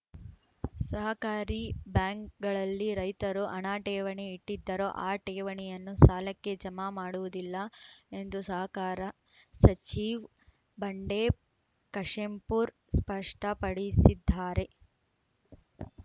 ಸಹಕಾರಿ ಬ್ಯಾಂಕ್‌ಗಳಲ್ಲಿ ರೈತರು ಹಣ ಠೇವಣಿ ಇಟ್ಟಿದ್ದರೂ ಆ ಠೇವಣಿಯನ್ನು ಸಾಲಕ್ಕೆ ಜಮಾ ಮಾಡುವುದಿಲ್ಲ ಎಂದು ಸಹಕಾರ ಸಚಿವ್ ಬಂಡೆಪ್ ಕಾಶೆಂಪೂರ್ ಸ್ಪಷ್ಟಪಡಿಸಿದ್ದಾರೆ